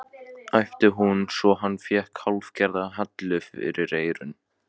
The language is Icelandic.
æpti hún svo hann fékk hálfgerða hellu fyrir eyrun.